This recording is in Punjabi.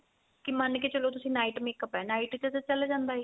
ਕੀ ਮੰਨ ਕੇ ਚਲੋ ਤੁਸੀਂ night makeup ਕੀਤਾ night ਚ ਤਾਂ ਚੱਲ ਜਾਂਦਾ ਏ